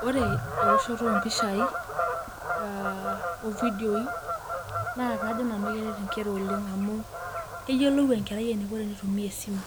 Ore ewoshoto mpishai ovidieoi nakajo nanu keret nkera amu keyiolou enkerai eniko enitumia esimu,